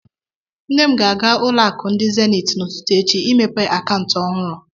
Nne m ga-aga ulo aku ndi Zenith n'ụtụtụ echi imepe akaụntụ ọhụrụ